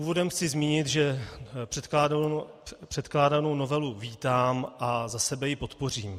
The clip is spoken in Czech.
Úvodem chci zmínit, že předkládanou novelu vítám a za sebe ji podpořím.